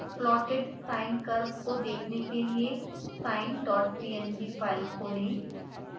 plotted sine curve को देखने के लिए sinepng फाइल खोलें